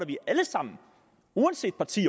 vi alle sammen uanset parti